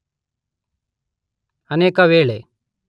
ಅನೇಕ ವೇಳೆ